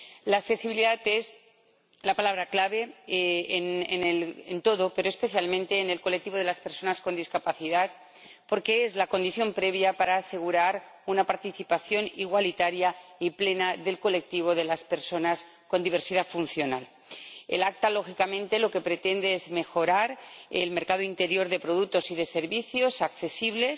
La accesibilidad es la palabra clave en todo, pero especialmente en el colectivo de las personas con discapacidad, porque es la condición previa para asegurar una participación igualitaria y plena del colectivo de estas personas con diversidad funcional. Lo que pretende la Directiva es, lógicamente, mejorar el mercado interior de productos y de servicios accesibles